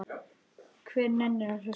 Hver nennir að hlusta á.